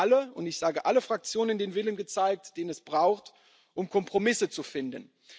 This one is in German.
Wir haben in allen und ich sage allen Fraktionen den Willen gezeigt, den es braucht, um Kompromisse zu finden.